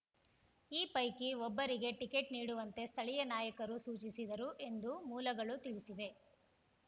ಈ ಪೈಕಿ ಒಬ್ಬರಿಗೆ ಟಿಕೆಟ್‌ ನೀಡುವಂತೆ ಸ್ಥಳೀಯ ನಾಯಕರು ಸೂಚಿಸಿದರು ಎಂದು ಮೂಲಗಳು ತಿಳಿಸಿವೆ